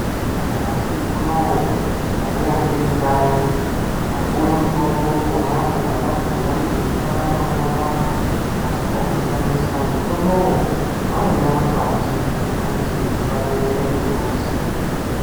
Nyamashi unou ndaiya ndiri kanyi ndikaouwa mutombo ponapo pandabhuya kuti zino rangu rinopanda asi chandishamisa mutombo uyu waiya makwati efuti wepaberere pembuzi.